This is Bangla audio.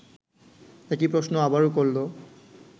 একই প্রশ্ন আবারও করল